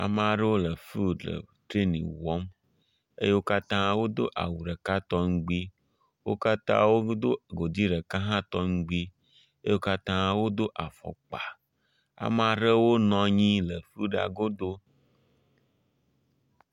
Ame aɖewo le fiɖi le trɛni wɔm eye wo katã wodo awu ɖeka tɔŋgbi. Wo katã wodo godi ɖeka hã tɔŋgb. Wo katã wodo afɔkpa. Ame aɖewo nɔ anyi le fiɖia godo